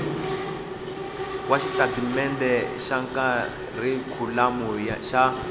wa xitatimendhe xa kharikhulamu xa